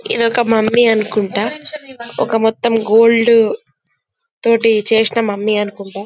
ఇది ఒక మొమ్మ్య్ అనుకుంట అది కూడా గోల్డ్ తో చేసిన మొమ్మ్య్ అనుకుంట--